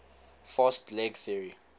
fast leg theory